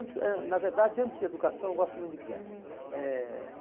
antes ãh Na verdade, antes de educação, eu gosto muito de criança. Uhum. Eh